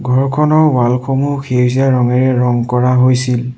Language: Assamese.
ঘৰখনৰ ৱাল সমূহ সেউজীয়া ৰঙেৰে ৰং কৰা হৈছিল।